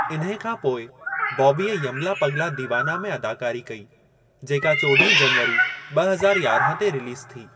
इन्हे खां पोइ बॉबीअ 'यमला पगला दीवाना' में अदाकारी कई, जेका चौॾहीं जनवरी ॿ हज़ार यारहां ते रिलीज़ थी।